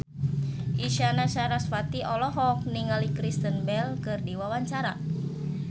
Isyana Sarasvati olohok ningali Kristen Bell keur diwawancara